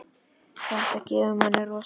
Þetta gefur manni rosa mikið.